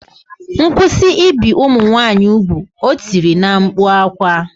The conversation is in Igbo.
Kwụsị ibi ụmụ nwaanyị ugwu! O tiri na mkpu akwa